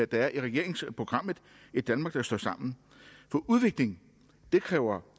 der er i regeringsprogrammet et danmark der står sammen for udvikling kræver